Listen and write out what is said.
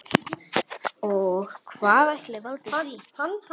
Og hvað ætli valdi því?